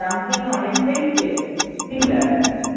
dumpling অনেকটাই samesimilar